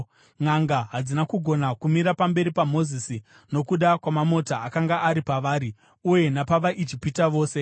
Nʼanga hadzina kugona kumira pamberi paMozisi nokuda kwamamota akanga ari pavari uye napavaIjipita vose.